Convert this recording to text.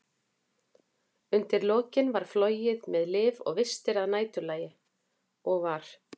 Undir lokin var flogið með lyf og vistir að næturlagi, og var